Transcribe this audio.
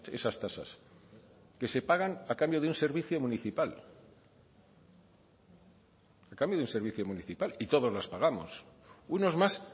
esas tasas que se pagan a cambio de un servicio municipal a cambio de un servicio municipal y todos las pagamos unos más